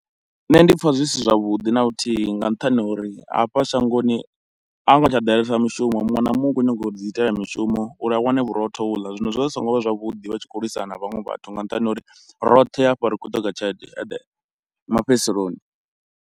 Nṋe ndi pfha zwisi zwavhuḓi na luthihi nga nṱhani ho uri hafha shangoni a hu ngo tsha ḓalesa mushumo, muṅwe na muṅwe u khou nyago ḓi itela mishumo uri a wane vhurotho ho uḽa. Zwino zwi vha zwi so ngo vha zwavhuḓi vha tshi khou lwisana na vhaṅwe vhathu nga nṱhani ho uri roṱhe hafha ri khou ṱoḓa tshelede ende mafhedziseloni.